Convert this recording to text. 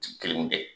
Kelen kɛ